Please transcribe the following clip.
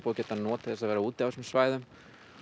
geta notið þess að vera úti á þessum svæðum